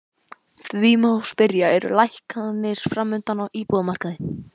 Því má spyrja, eru lækkanir framundan á íbúðamarkaði?